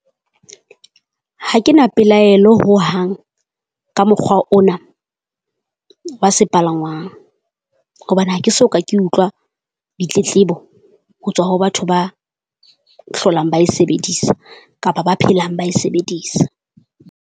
Ha ke na pelaelo hohang ka mokgwa ona wa sepalangwang. Hobane ha ke soka ke utlwa ditletlebo ho tswa ho batho ba hlolang ba e sebedisa kapa ba phelang ba e sebedisa.